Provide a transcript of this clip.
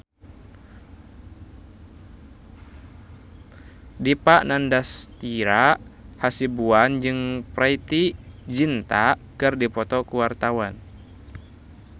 Dipa Nandastyra Hasibuan jeung Preity Zinta keur dipoto ku wartawan